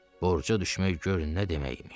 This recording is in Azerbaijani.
Borca düşmək gör nə demək imiş.